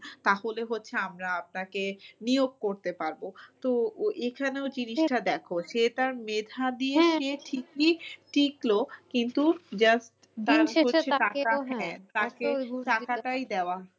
তাহলে হচ্ছে আমরা আপনাকে নিয়ক করতে পারবো। তো এখানেও জিনিসটা দেখো সে তার মেধাবী ঠিকই টিকলো কিন্তু just দিন শেষে টাকা হ্যাঁ টাকাটাই দেওয়া